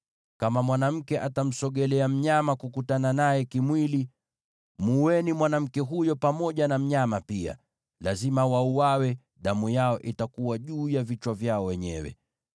“ ‘Kama mwanamke atamsogelea mnyama kukutana naye kimwili, muueni mwanamke huyo pamoja na mnyama pia. Lazima wauawe; damu yao itakuwa juu ya vichwa vyao wenyewe.